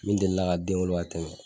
Min delila ka den wolo ka tɛmɛ